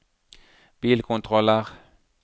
bilkontroller